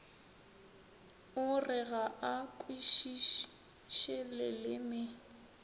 o re ga a kwešišeleleme